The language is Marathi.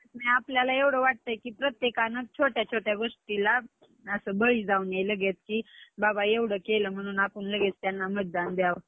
आपल्याला वाटतं का प्रत्येकानं छोट्या छोट्या गोष्टीला असं बळी जाऊ नये लगेच कि बाबा एवढं केलं म्हणून आपण लगेच त्यांना मतदान द्यावं.